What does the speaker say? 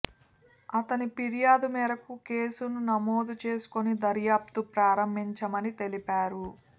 అతని ఫిర్యాదు మేరకు కేసును నమోదు చేసుకొని దర్యాప్తు ప్రారంభించామని తెలిపారు